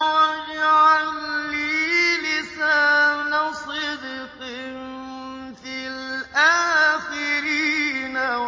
وَاجْعَل لِّي لِسَانَ صِدْقٍ فِي الْآخِرِينَ